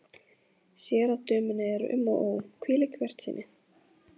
Sér að dömunni er um og ó, hvílík bjartsýni!